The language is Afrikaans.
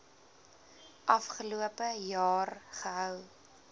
afgelope jaar gehou